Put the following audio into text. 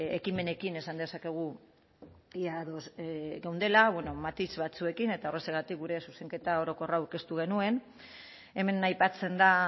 ekimenekin esan dezakegu ia ados geundela bueno matiz batzuekin eta horrexegatik gure zuzenketa orokorra aurkeztu genuen hemen aipatzen da